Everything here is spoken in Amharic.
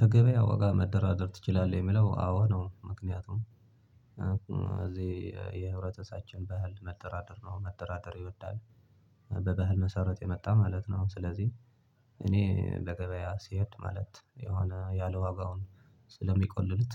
በገበያ ዋጋ መደራደር ትችላለህ? የሚለው አዎ ነው ምክንያቱም እዚህ የህብረተሳችን ባህል መደራደር ነው መደራደር ይወዳል በባህል መሰረት የመጣ ማለት ነው። ስለዚህ እኔ በገበያ ስሄድ ማለት የሆነ ያለ ዋጋውን ስለሚቆልሉት።